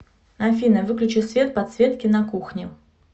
афина выключи свет подсветки на кухне